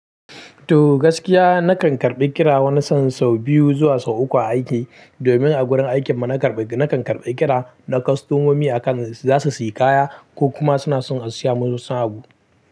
To gaskiya na kan karbi kira wani sa'in sau biyu zuwa sau uku a aiki. Domin a gurin aikin mu na kan karbi kira na kostomomi a kan za su sayi kaya ko kuma suna son a saya musu wani abu.